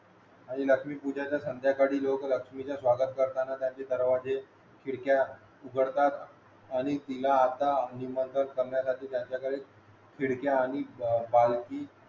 आणि लक्ष्मी पूजनाचा संद्याकाळी लोक लक्ष्मीचे स्वागत करताना घराचे दरवाजे खिडक्या उघडतात आणि तिला आता निमंत्रण करण्यासाठी त्यांच्याकडे खिडख्या आणि